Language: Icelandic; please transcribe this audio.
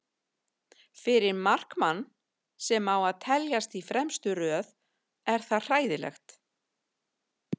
Fyrir markmann sem á að teljast í fremstu röð er það hræðilegt.